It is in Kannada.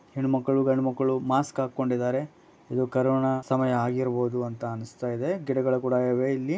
ಹೆಣ್ಣು ಮಕ್ಕಳು ಗಂಡು ಮಕ್ಕಳು ಮಾಸ್ಕ್ ಹಾಕೊಂಡಿದರೆ. ಇದು ಕರೋನ ಸಮಯ ಆಗಿರಬಹುದು ಎಂದೆನಿಸುತ್ತಿದೆ ಗಿಡಗಳು ಇವೆ.